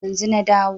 Yanzu na dawo